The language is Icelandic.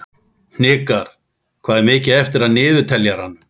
Hnikar, hvað er mikið eftir af niðurteljaranum?